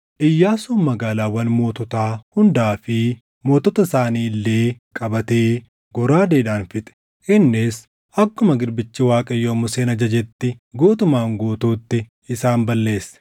Iyyaasuun magaalaawwan moototaa hundaa fi mootota isaanii illee qabatee goraadeedhaan fixe. Innis akkuma garbichi Waaqayyoo Museen ajajetti guutumaan guutuutti isaan balleesse.